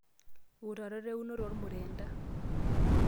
Wutarot eunoto ormurenda.